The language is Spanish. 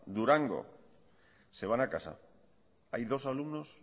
durango se van a casa hay dos alumnos